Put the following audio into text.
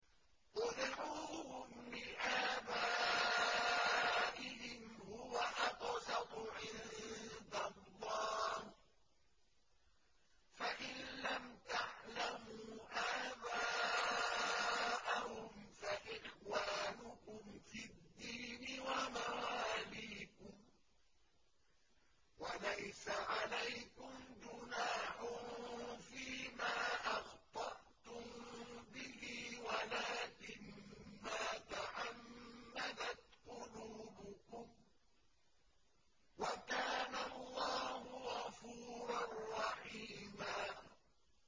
ادْعُوهُمْ لِآبَائِهِمْ هُوَ أَقْسَطُ عِندَ اللَّهِ ۚ فَإِن لَّمْ تَعْلَمُوا آبَاءَهُمْ فَإِخْوَانُكُمْ فِي الدِّينِ وَمَوَالِيكُمْ ۚ وَلَيْسَ عَلَيْكُمْ جُنَاحٌ فِيمَا أَخْطَأْتُم بِهِ وَلَٰكِن مَّا تَعَمَّدَتْ قُلُوبُكُمْ ۚ وَكَانَ اللَّهُ غَفُورًا رَّحِيمًا